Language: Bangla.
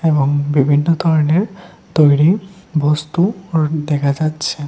এবং বিভিন্ন ধরনের তৈরি বস্তু দেখা যাচ্ছে।